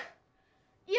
ég